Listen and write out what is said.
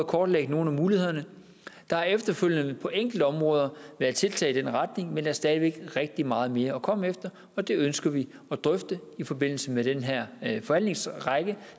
kortlægge nogle af mulighederne der har efterfølgende på enkeltområder været tiltag i den retning men der er stadig væk rigtig meget mere at komme efter og det ønsker vi at drøfte i forbindelse med den her forhandlingsrække